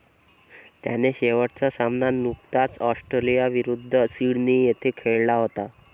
त्याने शेवटचा सामना नुकताच ऑस्ट्रेलियाविरुद्ध सिडनी येथे खेळला होता.